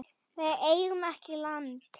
Við eigum ekki land.